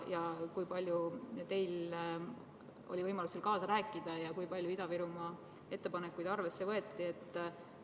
Kui palju teil oli võimalus seal kaasa rääkida ja kui palju Ida-Virumaa ettepanekuid arvesse võeti?